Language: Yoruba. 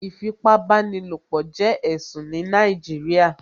Ìfipábánilopọ̀ jẹ́ ẹ̀sùn ní Nàìjíríà